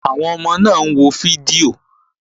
Àwọn ọmọ náà wo fídíò